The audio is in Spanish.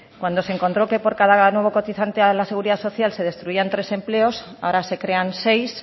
cuando se encontró que por cada nuevo cotizante a la seguridad social se destruían tres empleos ahora se crean seis